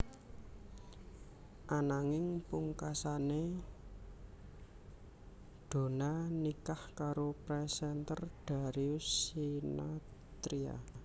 Ananging pungkasané Donna nikah karo presenter Darius Sinathrya